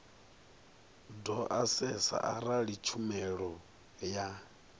do asesa arali tshumelo ya